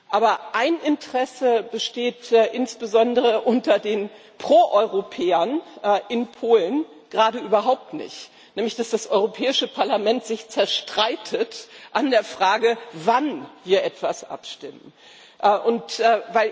Aber ein Interesse besteht insbesondere unter den Proeuropäern in Polen gerade überhaupt nicht, nämlich, dass das Europäische Parlament sich an der Frage, wann wir etwas abstimmen, zerstreitet.